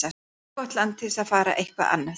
Of gott land til að fara eitthvað annað.